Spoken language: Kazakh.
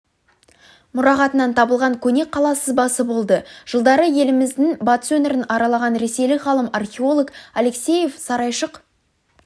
мұрағатынан табылған көне қала сызбасы болды жылдары еліміздің батыс өңірін аралаған ресейлік ғалым-археолог алексеев сарайшық